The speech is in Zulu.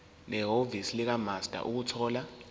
nehhovisi likamaster ukuthola